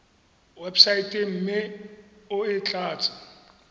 websaeteng mme o e tlatse